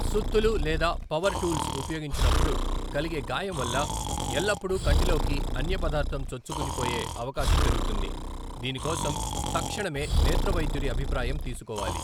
సుత్తులు లేదా power tools ఉపయోగించినప్పుడు కలిగే గాయం వల్ల ఎల్లప్పుడూ కంటిలోకి అన్య పదార్థం చొచ్చుకొనిపోయే అవకాశం పెరుగుతుంది, దీని కోసం తక్షణమే నేత్ర వైద్యుడి అభిప్రాయం తీసుకోవాలి.